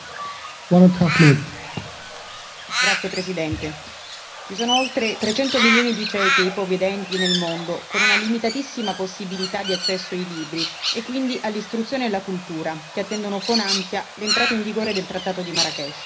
Signor Presidente, onorevoli colleghi, ci sono oltre 300 milioni di ciechi e ipovedenti nel mondo con una limitatissima possibilità di accesso ai libri e quindi all'istruzione e alla cultura, che attendono con ansia l'entrata in vigore del trattato di Marrakech.